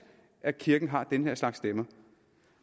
at kirken har den her slags stemmer